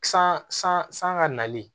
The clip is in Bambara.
San san san ka nali